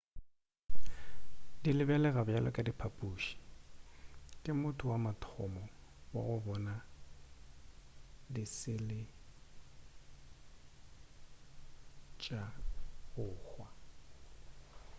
di lebelega bjalo ka diphaphuši ke motho wa mathomo wa go bona di sele tša go hwa